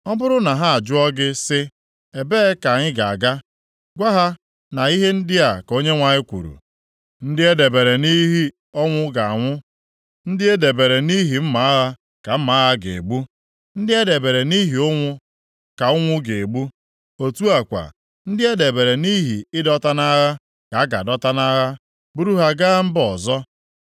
Ọ bụrụ na ha ajụọ gị si, ‘Ebee ka anyị ga-aga?’ Gwa ha na ihe ndị a ka Onyenwe anyị kwuru, “ ‘Ndị e debere nʼihi ọnwụ ga-anwụ, ndị e debere nʼihi mma agha ka mma agha ga-egbu; ndị e debere nʼihi ụnwụ ka ụnwụ ga-egbu, otu a kwa, ndị e debere nʼihi ịdọta nʼagha, ka a ga-adọta nʼagha buru ha gaa mba ọzọ.’